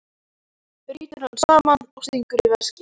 Brýtur hann saman og stingur í veskið.